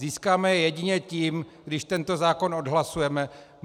Získáme je jedině tím, když tento zákon odhlasujeme.